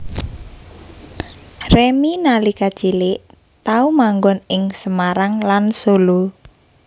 Remy nalika cilik tau manggon ing Semarang lan Solo